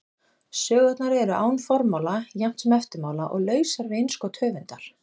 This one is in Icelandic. Sögurnar eru án formála jafnt sem eftirmála og lausar við innskot höfundar.